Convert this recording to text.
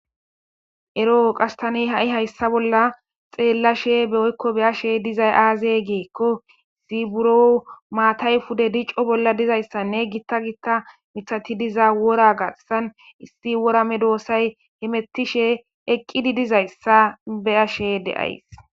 Ero qasse tani ha'i hayssa bolla xeellashe woykko be'ashe dizay aaze giikko buro maatay pude dico bolla dizayssanne gita gita miththati diza wora garssan issi wora medosay hemetishe eqqidi dizayssa be'ashe de'ays.